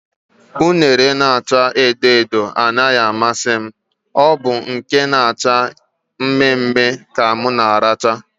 Unere na acha edo edo anaghị amasị, ọ bụ nke na acha mme mme ka m na aracha